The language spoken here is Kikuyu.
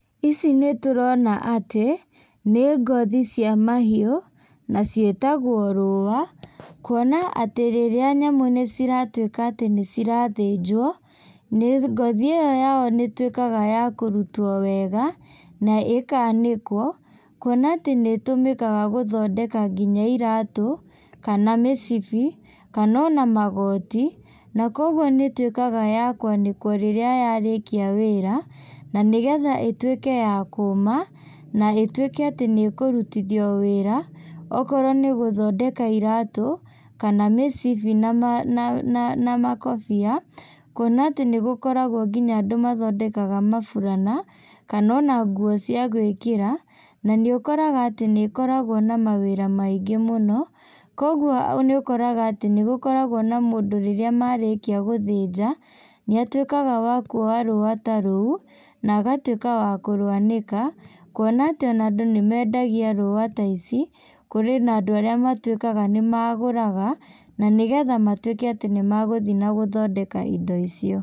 Ici nĩtũrona atĩ, nĩ ngothi cia mahiũ, na ciĩtagwo rũa, kuona atĩ rĩrĩa nyamũ nĩciratuĩka atĩ nĩcirathĩnjwo, nĩ ngothi ĩyo yao nĩ ĩtuĩkaga ya kũrutwo wega, na ĩkanĩkwo, kuona atĩ nĩtũmĩkaga gũthondeka nginya iratũ, kana mĩcibi, kana ona magoti, na koguo nĩtuĩkaga ya kũanĩkwo rĩrĩa yarĩkia wĩra, na nĩgetha ĩtuĩke yakũma, na ĩtuĩke atĩ nĩkũrutithio wĩra, okorwo nĩgũthondeka iratũ, kana mĩcibi nama na na makobĩa, kuona atĩ nĩgũkoragwo nginya andũ mathondekaga maburana, kana ona nguo cia gwĩkĩra, na nĩũkoraga atĩ nĩkoragwo na mawĩra maingĩ mũno, koguo nĩũkoraga atĩ nĩgũkoragwo na mũndũ rĩrĩa marĩkio gũthĩnja, nĩatuĩkaga wa kuoya rũa ta rũu, na agatuĩka wa kũrwanĩka, kuona atĩ ona andũ nĩmendagia rũa ta ici, kũrĩ na andũ arĩa matuĩkaga nĩmagũraga, na nĩgetha matuĩke atĩ nĩmagũthiĩ na gũthondeka indo icio.